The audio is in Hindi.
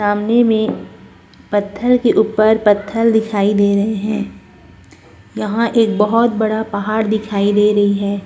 सामने में पथल के ऊपर पथल दिखाई दे रहें हैं यहाँ एक बहुत बड़ा पहाड़ दिखाई दे रही है।